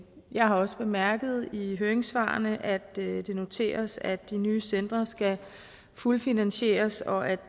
jeg har også bemærket i høringssvarene at det det noteres at de nye centre skal fuldfinansieres og at